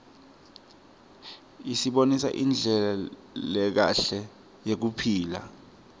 isibonisa indlela lekahle yekuphila